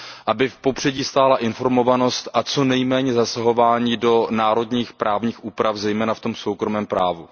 Aby v popředí stála informovanost a co nejméně zasahování do národních právních úprav, zejména v tom soukromém právu.